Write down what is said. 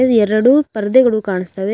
ಇಲ್ಲಿ ಎರಡು ಪರದೆಗಳು ಕಾಣಿಸ್ತವೆ ಅಲ್ಲಿ --